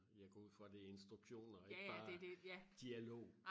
jeg går ud fra det er instruktioner og ikke bare dialog